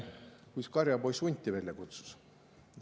… kus karjapoiss hunti välja kutsus.